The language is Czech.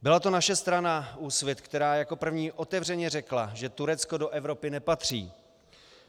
Byla to naše strana Úsvit, která jako první otevřeně řekla, že Turecko do Evropy nepatří.